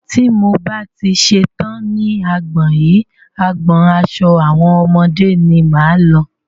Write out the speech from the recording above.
Tí mo bá ti ṣetán ní agbọn yìí, agbọn aṣo àwọn ọmọdé ni máa lọ.